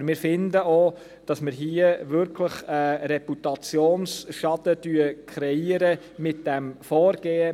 Aber wir finden auch, dass wir mit diesem Vorgehen hier wirklich einen Reputationsschaden kreieren.